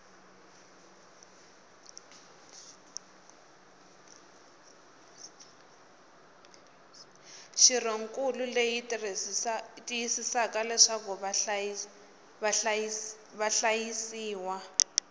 xirhonkulu leyi tiyisisaka leswaku vahlayisiwa